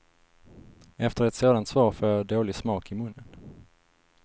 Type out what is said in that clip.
Efter ett sådant svar får jag dålig smak i munnen.